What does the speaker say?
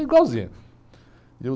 Igualzinha. E eu